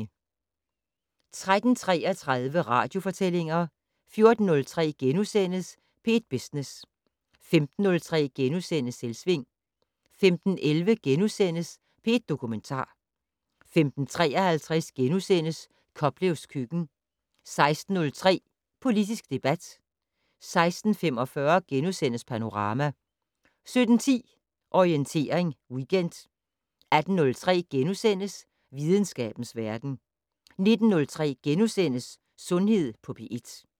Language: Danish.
13:33: Radiofortællinger 14:03: P1 Business * 15:03: Selvsving * 15:11: P1 Dokumentar * 15:53: Koplevs køkken * 16:03: Politisk debat 16:45: Panorama * 17:10: Orientering Weekend 18:03: Videnskabens verden * 19:03: Sundhed på P1 *